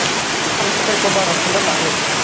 ਤੇਰੇ ਕੋਲੋ ਬਾਰਾਂ ਸੌ ਲੱਲਾਗੇ।